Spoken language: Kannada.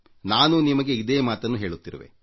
ನಾನೂ ನಿಮಗೆ ಇದೇ ಮಾತನ್ನು ಹೇಳುತ್ತಿರುವೆ